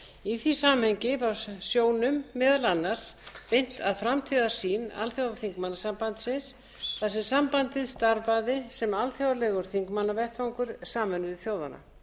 í því samhengi var sjónum meðal annars beint að framtíðarsýn alþjóðaþingmannasambandsins þar sem sambandið starfaði sem alþjóðlegur þingmannavettvangur sameinuðu þjóðanna